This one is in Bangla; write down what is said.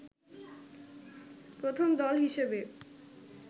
প্রথম দল হিসেবে